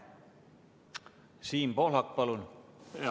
Siim Pohlak, palun!